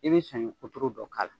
I bɛ saɲɔ kuturu dɔ k'a la.